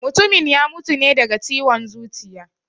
Mutumin ya mutu ne daga ciwon zuciya